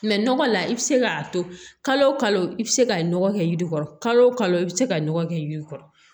nɔgɔ la i bɛ se k'a to kalo o kalo i bɛ se ka nɔgɔ kɛ yiri kɔrɔ kalo o kalo i bɛ se ka nɔgɔ kɛ yiri kɔrɔ